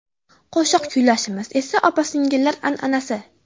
Qo‘shiq kuylashimiz esa opa-singillar an’anasi.